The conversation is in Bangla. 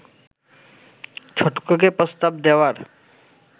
ছটকুকে প্রস্তাব দেওয়ার